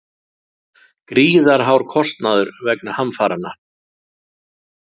Gríðarhár kostnaður vegna hamfaranna